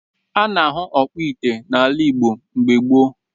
A na-ahụ ọkpụ ite n’ala Igbo mgbe gboo